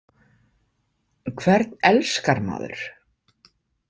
Hvern elskar maður?